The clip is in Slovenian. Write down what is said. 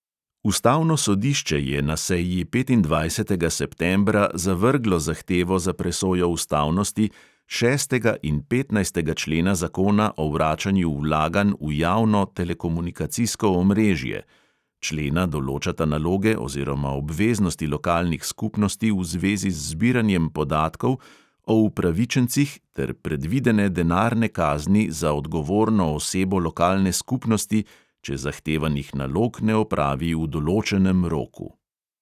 Ustavno sodišče je na seji petindvajsetega septembra zavrglo zahtevo za presojo ustavnosti šestega in petnajstega člena zakona o vračanju vlaganj v javno telekomunikacijsko omrežje (člena določata naloge oziroma obveznosti lokalnih skupnosti v zvezi z zbiranjem podatkov o upravičencih ter predvidene denarne kazni za odgovorno osebo lokalne skupnosti, če zahtevanih nalog ne opravi v določenem roku).